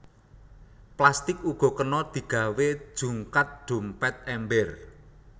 Plastik uga kena digawé jungkat dompét ember